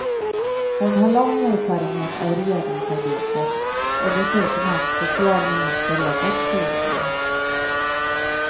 Hon har lång erfarenhet av regeringsarbetet och dessutom haft socialministerjobbet tidigare.